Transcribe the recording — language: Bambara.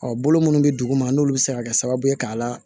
bolo munnu bɛ duguma n'olu bɛ se ka kɛ sababu ye k'a la